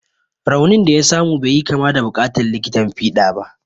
Raunin da ya samu bai yi kama da buƙatar likitan fiɗa ba.